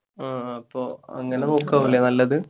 ങ്ഹാ അപ്പൊ അങ്ങനെ നോക്കുകയാണല്ലേ നല്ലത്?